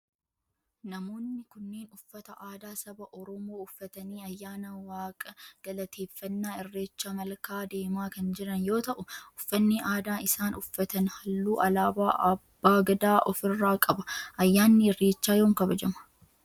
namoonni kunneen uffata aadaa saba oromoo uffatanii ayyaana waaqa galateeffannaa irreecha malkaa deemaa kan jiran yoo ta'u uffanni aadaa isaan uffatan halluu alaabaa abbaa Gadaa of irraa qaba. Ayyaanni irreechaa yoom kabajama?